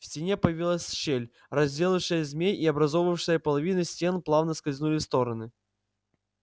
в стене появилась щель разделившая змей и образовавшиеся половины стен плавно скользнули в стороны